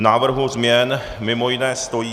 V návrhu změn mimo jiné stojí: